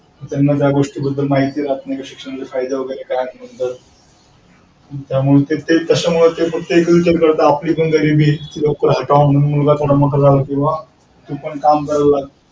त्यांना त्या गोष्टीबद्दल माहीती राहत नाही शिक्षणाचे फायदे वगैरे त्याबद्दल तशामुळे ते फक्त असा विचार करतात कि आपली पण गरिबी आहे लवकर हटावी म्हणून मुलगा पण किंवा काम करायला लागतो.